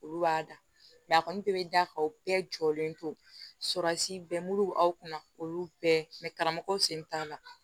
Olu b'a da a kɔni bɛɛ bɛ da kan o bɛɛ jɔlen tora si bɛɛ kunna olu bɛɛ karamɔgɔw sen t'a la